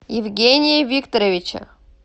евгения викторовича